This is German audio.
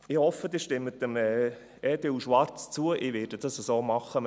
Ich hoffe, Sie stimmen dem Antrag EDU/Schwarz zu, ich werde das so machen.